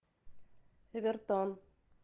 эвертон